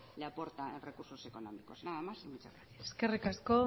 le aporta en recursos económicos nada más y muchas gracias eskerrik asko